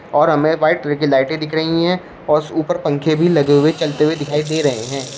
और हमें white colour की लाइटें दिख रही हैं और ऊपर पंखे भी लगे हुए चलते हुए दिखाई दे रहे हैं।